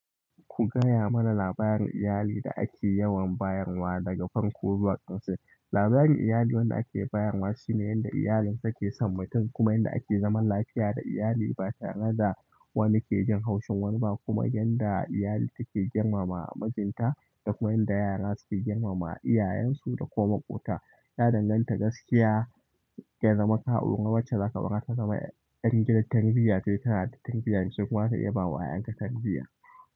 Ku gaya mana labarin yayu da ake yawan bayarwa daga farko zuwa ƙarshe labarin iyali wanda ake bayarwa shine yanda iyalin take san mutum kuma yanda ake zaman lafiya da iyali ba tare da wani ke jin haushin wani ba kuma yanda iyali take girmama mijinta da kuma yadda yara suke girmama iyayensu da koma ƙuta. Ya danganta gaskiya ya zama ka'urga wacce zaka bar ta zama ɗan gidan tarbiyya sai kana da tarbiyyar duk ma ta iya bawa 'ya'yanka tarbiyya.